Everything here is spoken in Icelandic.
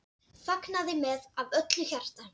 Fagnaði með af öllu hjarta.